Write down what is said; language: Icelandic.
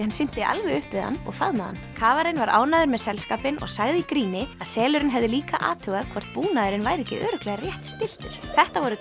hann synti alveg upp við hann og faðmaði hann kafarinn var ánægður með selskapinn og sagði í gríni að selurinn hefði líka athugað hvort búnaðurinn væri ekki örugglega rétt stilltur þetta voru